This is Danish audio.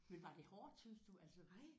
Men var det hårdt syntes du altså?